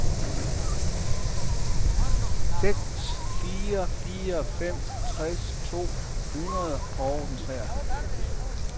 seks fire fire fem tres to hundrede og treoghalvfems